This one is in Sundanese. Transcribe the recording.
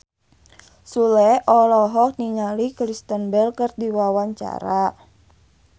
Sule olohok ningali Kristen Bell keur diwawancara